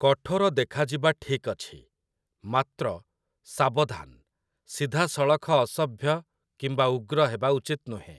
କଠୋର ଦେଖାଯିବା ଠିକ୍ ଅଛି, ମାତ୍ର, ସାବଧାନ୍‌, ସିଧାସଳଖ ଅସଭ୍ୟ କିମ୍ବା ଉଗ୍ର ହେବା ଉଚିତ ନୁହେଁ ।